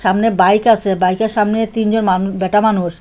সামনে বাইক আসে বাইকের সামনে তিনজন মানু ব্যাটা মানুষ।